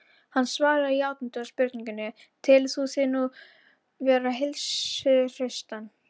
Hann svaraði játandi spurningunni: Telur þú þig nú vera heilsuhraustan?